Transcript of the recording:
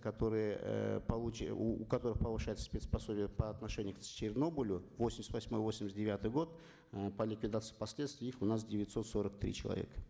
которые э у которых повышается спец пособие по отношению к чернобылю восемьдесят восьмой восемьдесят девятый год э по ликвидации последствий их у нас девятьсот сорок три человека